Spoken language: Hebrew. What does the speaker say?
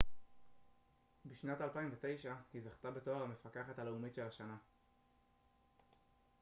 בשנת 2009היא זכתה בתואר המפקחת הלאומית של השנה